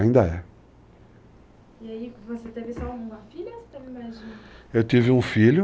Ainda é. E aí, você teve só uma filha? ou teve mais de uma? eu tinha um filho.